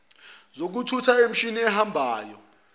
zokuthutha nemishini ehambayo